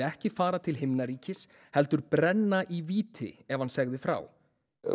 ekki fara til himnaríkis heldur brenna í víti ef hann segði frá